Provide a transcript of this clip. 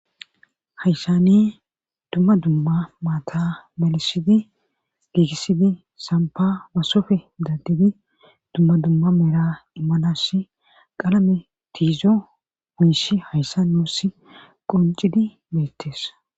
hayssani dumma dumma maata malisidi giigisidi sampa basofe daddidi dumma dumma meera immanas qalame tiizo miishi hayssa nuus qoncidi meettes